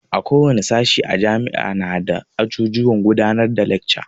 Ko wane sashi a jami'a nada ajujuwan gudanar da lekca.